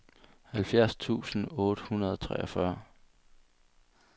halvfjerds tusind otte hundrede og treogfyrre